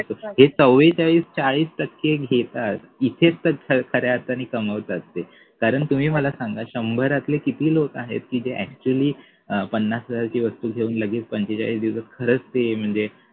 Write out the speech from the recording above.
हे चौरेचाळीस चाळीस टक्के घेतात इथेच तर खऱ्या अर्थाने कमवतात ते कारण तुम्ही मला सांगा शंभरातले किती लोक की जे actually अं पन्नास हजारांची वस्तू घेऊन लगेच पंचेचाळीस दिवसात खरच ते म्हणजे